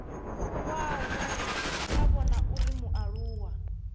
kwawe a vhona uri mualuwa